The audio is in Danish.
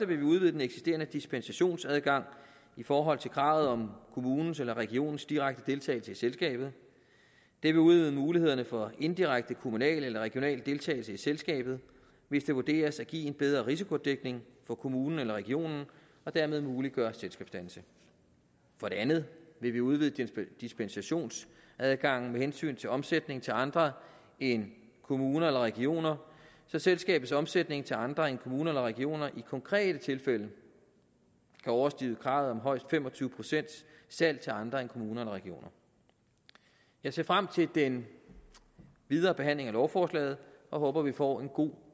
vil vi udvide den eksisterende dispensationsadgang i forhold til kravet om kommunens eller regionens direkte deltagelse i selskabet det vil udvide mulighederne for indirekte kommunal eller regional deltagelse i selskabet hvis det vurderes at give en bedre risikodækning for kommunen eller regionen og dermed muliggøre selskabsdannelse for det andet vil vi udvide dispensationsadgangen med hensyn til omsætning til andre end kommuner eller regioner så selskabets omstilling til andre end kommuner eller regioner i konkrete tilfælde kan overstige kravet om højst fem og tyve procent salg til andre end kommuner eller regioner jeg ser frem til den videre behandling af lovforslaget og håber at vi får en god